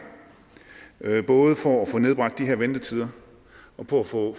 både for at få nedbragt de her ventetider og for at få